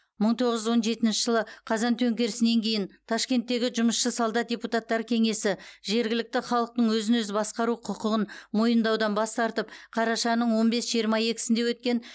мың тоғыз жүз он жетінші жылы қазан төңкерісінен кейін ташкенттегі жұмысшы солдат депутаттар кеңесі жергілікті халықтың өзін өзі басқару құқығын мойындаудан бас тартып қарашаның он бес жиырма екісінде өткен